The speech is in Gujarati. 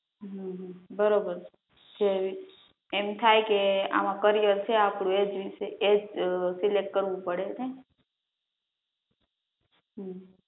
હમ બરોબર છે, એમ થાય કે આમાં કરિયર છે આપણું એજ વિષય ને સિલેક્ટ કરવું પડે ને હમ